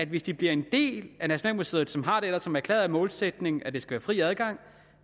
hvis de bliver en del af nationalmuseet som ellers har det som erklæret målsætning at der skal være fri adgang